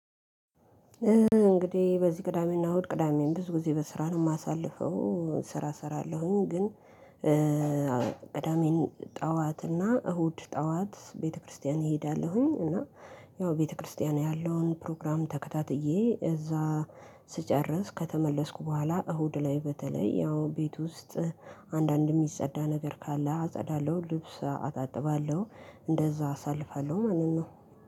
እንግዲህ በዚህ ቅዳሜና እሁድ ቅዳሜም ብዙ ጊዜ በስራ ነው የማሳልፈው እ ስራ እሰራለሁኝ። ግን እ ቅዳሜን ጠዋት እና እሁድ ጠዋት ቤተክርስቲያን እሄዳለሁኝ። እና ያው ቤተክርስቲያን ያለውን ፕሮግራም ተከታትዬ እዛ ስጨርስ ከተመለስኩ በኋላ እሁድ ላይ በተለይ ያው ቤት ውስጥ አንዳንድ ሚጸዳ ነገር ካለ አጸዳለሁ። ልብስ አጣጥባለሁ እንደዛ አሳልፋለሁ። ማንን ነው?